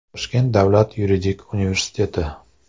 Toshkent Davlat yuridik universiteti.